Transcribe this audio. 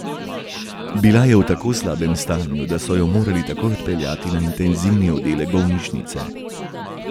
Bila je v tako slabem stanju, da so jo morali takoj odpeljati na intenzivni oddelek bolnišnice.